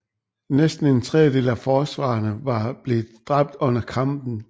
Næsten en tredjedel af forsvarerne var blevet dræbt under kampen